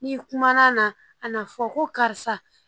N'i kumana na a na fɔ ko karisa